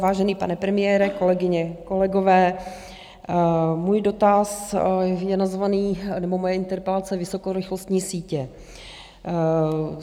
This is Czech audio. Vážený pane premiére, kolegyně, kolegové, můj dotaz je nazvaný - nebo moje interpelace - Vysokorychlostní sítě.